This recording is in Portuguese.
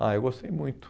Ah, eu gostei muito.